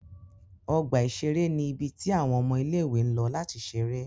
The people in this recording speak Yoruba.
Ọgba iṣere ni ibi ti awọn ọmọ ile-iwe ǹ lọ lati ṣere.